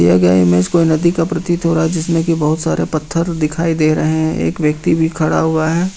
दिया गया ईमेज कोई नदी का प्रतीत हो रहा है जिसमें बहुत सारे पत्थर दिखाई दे रहे हैं एक व्यक्ति भी खड़ा हुआ है।